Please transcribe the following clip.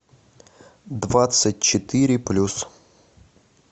двадцать четыре плюс